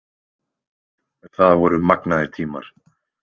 Það voru magnaðir tímar.